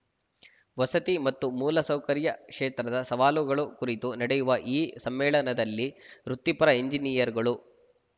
ವಸತಿ ಮತ್ತು ಮೂಲಸೌಕರ್ಯ ಕ್ಷೇತ್ರದ ಸವಾಲುಗಳು ಕುರಿತು ನಡೆಯುವ ಈ ಸಮ್ಮೇಳನದಲ್ಲಿ ವೃತ್ತಿಪರ ಎಂಜಿನಿಯರ್‌ಗಳು